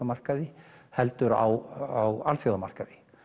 markaði heldur á alþjóðamarkaði